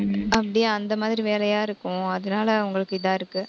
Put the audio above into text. அப்படியே, அந்த மாதிரி வேலையா இருக்கும். அதனால அவங்களுக்கு இதா இருக்கு.